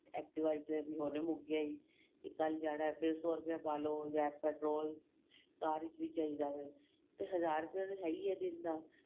activa ਵਿੱਚ ਵੀ ਹੁਣੇ ਮੁੱਕ ਗਿਆ ਏ ਕੱਲ ਜਾਣਾ ਏ ਫ਼ੇਰ ਸ਼ੋ ਰੁਪਏ ਦਾ ਪਾਲੋ petrol ਕਾਰ ਵਿੱਚ ਵੀ ਚਾਹੀਦਾ ਏ ਤੇ ਹਜ਼ਾਰ ਰੁਪਏ ਤਾਂ ਹੈ ਹੀ ਦਿਨ ਦਾ